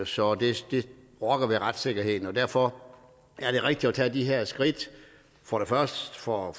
så det rokker ved retssikkerheden derfor er det rigtigt at tage de her skridt for det første for at